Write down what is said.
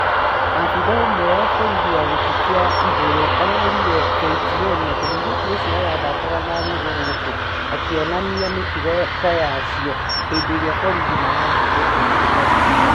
Abithaa ũmwe wa borithi wa gĩtĩ kĩa igũrũ arerĩre KTN atĩ mũirĩtu ũcio arathakaga na nũgũ gũkũ akĩonanĩa mĩtugo ta ya cio hĩndĩrĩa borithĩi marathire kũmũhonokia